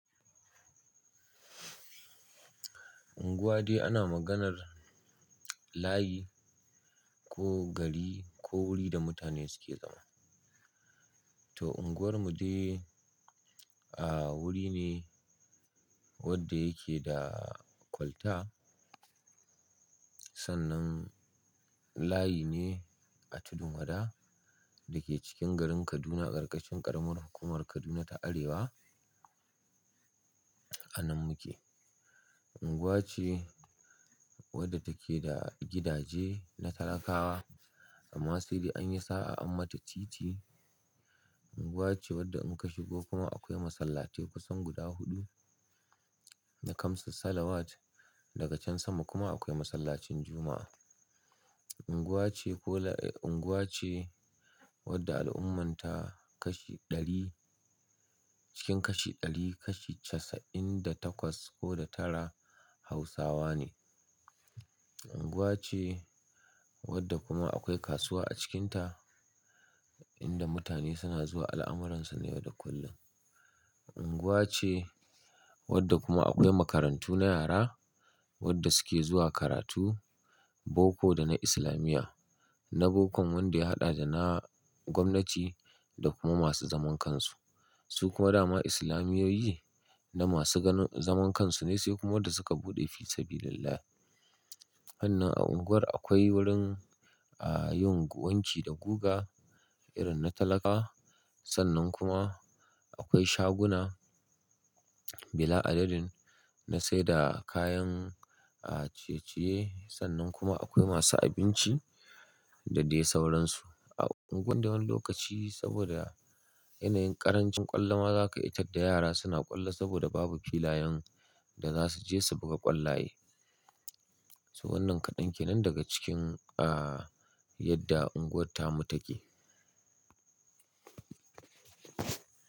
Unguwa dai ana maganar layi ko gari ko wuri da mutane suke zama. To unguwar mu dai, a wuri ne wanda yake da kwalta. Sannan layi ne a tudun wada dake cikin garin Kaduna a ƙarƙashin ƙaramar hukumar Kaduna ta Arewa. A nan muke. Unguwa ce wadda take da gidaje na talakawa amma sai dai an yi sa'a an mata titi. Unguwa ce wadda muka shigo kuma akwai masallatai kusan guda huɗu da kamsa salawat daga can sama kuma akwai masallacin Juma'a. Unguwa ce ko la, unguwa ce wadda al'ummanta kashi ɗari cikin kashi ɗari kashi casa'in da takwas ko da tara Hausawa ne. Unguwa ce wadda kuma akwai kasuwa a cikinta inda mutane suna zuwa al'amuransu na yau da kullum. Unguwa ce wadda kuma akwai makarantu na yara wadda suke zuwa karatu boko da na isilamiya na bokon wanda ya haɗa da na gwamnati da kuma masu zaman kansu. Su kuma dama islamiyoyi na masu ganu, zaman kansu ne sai kuma wadda suka buɗe fi sabilillahi. Sannan a unguwar akwai wurin yin a wanki da guga irin na talakawa sannan kuma akwai shaguna bila adadin na sayarda kayan ciye ciye sannan kuma akwai masu abinci da dai sauran su a unguwar da wani lokaci saboda yanayin ƙarancin ƙwallo maza ka iya tar da yara suna ƙwallo saboda babu filayen da za su je su buga ƙwallaye. To wannan kaɗan kenan daga cikin, a yadda unguwar ta mu take.